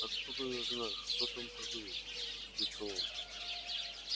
откуда я знаю что там продают сердится он